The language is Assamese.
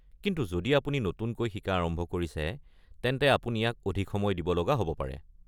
কিন্তু যদি আপুনি নতুনকৈ শিকা আৰম্ভ কৰিছে, তেন্তে আপুনি ইয়াক অধিক সময় দিব লগা হ'ব পাৰে।